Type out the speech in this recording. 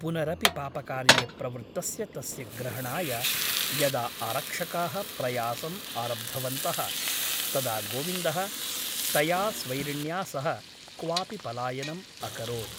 पुनरपि पापकार्ये प्रवृत्तस्य तस्य ग्रहणाय यदा आरक्षकाः प्रयासम् आरब्धवन्तः तदा गोविन्दः तया स्वैरिण्या सह क्वापि पलायनम् अकरोत् ।